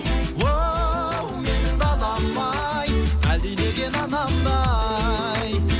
оу менің далам ай әлдилеген анамдай